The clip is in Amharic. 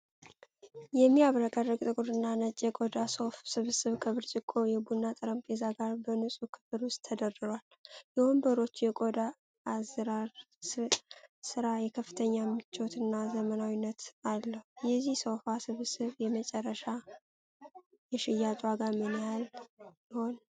የሚያብረቀርቅ ጥቁርና ነጭ የቆዳ ሶፋ ስብስብ ከብርጭቆ የቡና ጠረጴዛ ጋር በንፁህ ክፍል ውስጥ ተደርድሯል። የወንበሮቹ የቆዳ አዝራር ስራ የከፍተኛ ምቾትና ዘመናዊነትን አለው። የዚህ ሶፋ ስብስብ የመጨረሻ የሽያጭ ዋጋ ምን ያህል ይሆን?